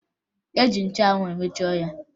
E ji nchụanwụ emeche ọnya